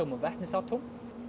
og vetnisatóm